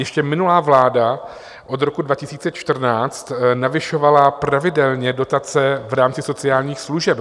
Ještě minulá vláda od roku 2014 navyšovala pravidelně dotace v rámci sociálních služeb.